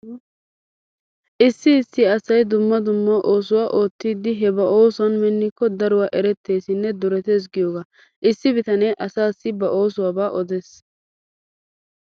Issi issi asay dumma dumma oosoya oottidi he ba oosuwan minnikko daruwa eretteesinne duretees giyogaa. Issi bitanee asaassi ba oosuwaba odees.